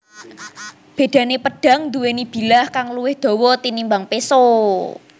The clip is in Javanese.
Bédané pedhang nduwèni bilah kang luwih dawa tinimbang péso